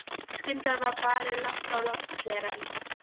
Skyndilega var barið lágt á lofthlerann.